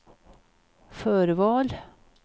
förval